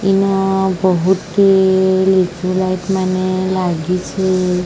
ଇନ ବହୁତି ଲିଚୁ ଲାଇଟ ମାନେ ଲାଗିଛି।